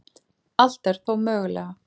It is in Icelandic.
Allt er þó mögulega